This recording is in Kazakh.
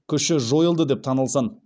күші жойылды деп танылсын